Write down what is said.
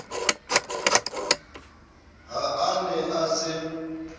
ha a ne a se